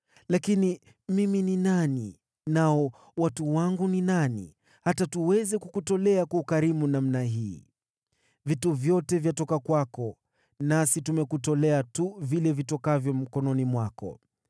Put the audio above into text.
“Lakini mimi ni nani, nao watu wangu ni nani, hata tuweze kukutolea kwa ukarimu namna hii? Vitu vyote vyatoka kwako, nasi tumekutolea tu vile vitokavyo mkononi mwako.